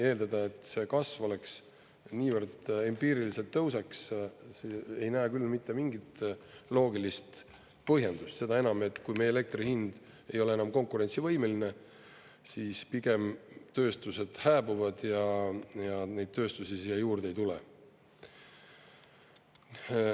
Eeldada, et see kasv oleks niivõrd empiiriliselt tõuseks, ei näe küll mitte mingit loogilist põhjendust, seda enam, et kui meie elektri hind ei ole enam konkurentsivõimeline, siis pigem tööstused hääbuvad ja neid tööstusi siia juurde ei tule.